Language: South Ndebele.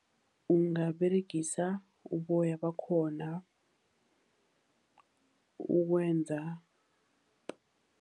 Ungaberegisa uboya bakhona ukwenza.